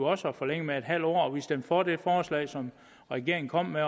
også at forlænge med en halv år og vi stemte for det forslag som regeringen kom med